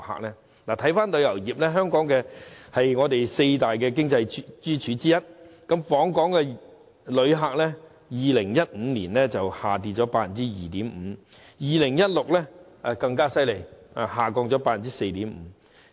說回旅遊業，它是香港四大經濟支柱之一，訪港旅客人數在2015年下跌了 2.5%， 而2016年更差，下跌了 4.5%。